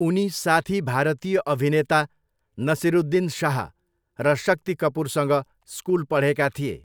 उनी साथी भारतीय अभिनेता नसिरुद्दिन शाह र शक्ति कपुरसँग स्कुल पढेका थिए।